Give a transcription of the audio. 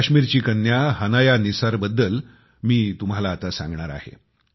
काश्मीरची कन्या हनाया निसारबद्दल मी तुम्हाला आता सांगणार आहे